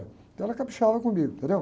Então ela caprichava comigo, entendeu?